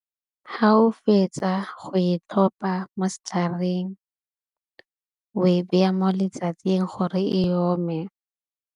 Ha o fetsa go e tlhopa mo setlhareng wa e baya mo letsatsing gore e ome.